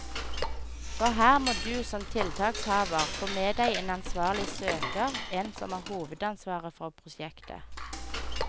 For her må du som tiltakshaver få med deg en ansvarlig søker, en som har hovedansvaret for prosjektet.